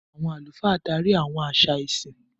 Àwọn àlùfáà darí àwọn àṣà ìsìn.